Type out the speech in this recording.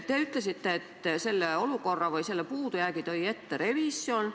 Te ütlesite, et sellele puudujäägile viitas revisjon.